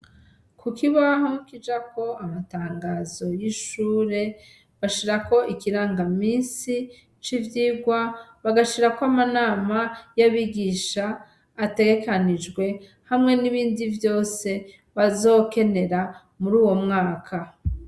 Kukibaho kijako amatangazo y'ishure, bashirako ikirangaminsi c'ivyigwa, bagashirako amanama y'abigisha ategekanijwe hamwe n'ibindi vyose bazokenera muri uwo mwaka.